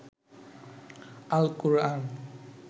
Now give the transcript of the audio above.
Al-Quran